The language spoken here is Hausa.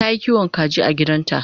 Tayi kiwon kaji a gidanta